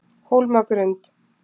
Hólmagrund